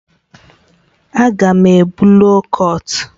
Aga m ebu loo kọt